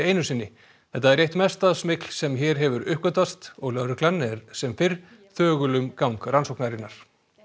einu sinni þetta er eitt mesta smygl sem hér hefur uppgötvast og lögreglan er sem fyrr þögul um gang rannsóknarinnar